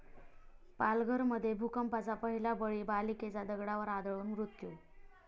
पालघरमध्ये भूकंपाचा पहिला बळी, बालिकेचा दगडावर आदळून मृत्यू